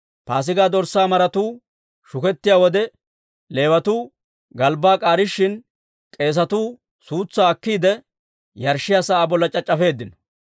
Paasigaa dorssaa maratuu shukettiyaa wode, Leewatuu galbbaa k'aarishin, k'eesetu suutsaa akkiide, yarshshiyaa sa'aa bolla c'ac'c'afeeddino.